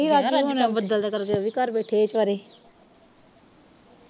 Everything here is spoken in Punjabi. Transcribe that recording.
ਯਾਰ ਅੱਜ ਤਾ ਬੱਦਲ ਦੇ ਕਰਕੇ ਓਹ ਵੀ ਘਰ ਬੈਠੇ ਸਾਰੇ